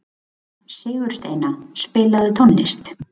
Sigursteina, spilaðu tónlist.